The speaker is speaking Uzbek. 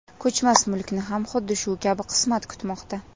Ko‘chmas mulkni ham xuddi shu kabi qismat kutmoqda.